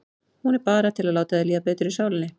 Hún er bara til að láta þér líða betur í sálinni.